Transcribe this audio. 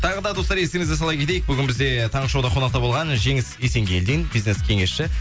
тағы да достар естеріңізге сала кетейік бүгін бізде таңғы шоуда қонақта болған жеңіс есенгелдин бизнес кеңесші